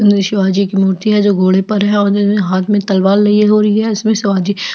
वीर शिवाजी की मूर्ति है जो घोड़े पर है और उसके हाथ में तलवार लिए हुए है उसमे शिवजी --